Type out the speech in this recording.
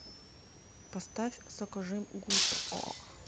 поставь сокожим гурт о